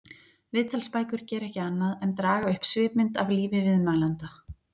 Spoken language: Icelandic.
Viðtalsbækur gera ekki annað en draga upp svipmynd af lífi viðmælanda.